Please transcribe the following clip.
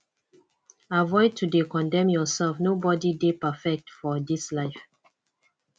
avoid to de condemn yourself nobody de perfectfor this life